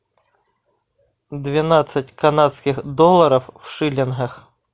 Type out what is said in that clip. двенадцать канадских долларов в шиллингах